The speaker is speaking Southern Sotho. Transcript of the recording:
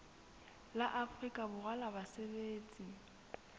la afrika borwa la basebetsi